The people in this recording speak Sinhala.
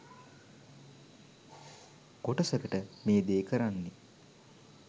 කොටසකට මේ දේ කරන්නෙ